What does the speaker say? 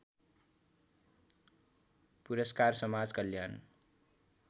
पुरस्कार समाज कल्याण